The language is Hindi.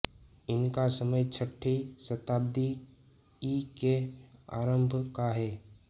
इनका समय छठी शताब्दी ई के आरम्भ का है